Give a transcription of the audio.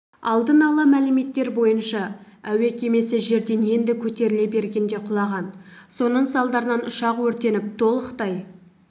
алдын ала мәліметтер бойынша әуе кемесі жерден енді көтеріле бергенде құлаған соның салдарынан ұшақ өртеніп толықтай